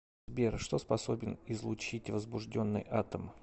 сбер что способен излучить возбужденный атом